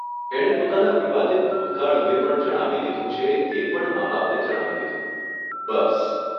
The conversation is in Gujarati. એણે પોતાના વિવાદીત ભૂતકાળ અંગે પણ જણાવી દીધું છે એ પણ મા બાપને જણાવી દીધું. બસ.